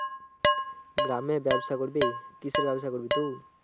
গ্রামে ব্যবসা করবি? কিসের ব্যবসা করবি তুই?